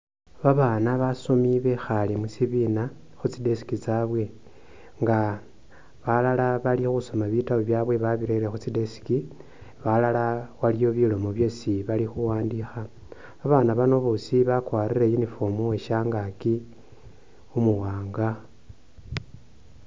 Babana basomi bekhaale mushibiina khutsi desk tsabwe nga balala bali khusoma bitabu byaawe babirele khu tsi deski balala aliwo bilomo byesi bali khuwandikha babana bano boosi bakwarile uniform weshangaki umuwanga.